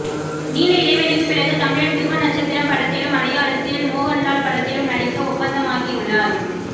நீண்ட இடைவெளிக்கு பிறகு தமிழில் துருவ நட்சத்திரம் படத்திலும் மலையாளத்தில் மோகன்லால் படத்திலும் நடிக்க ஒப்பந்தமாகியுள்ளார்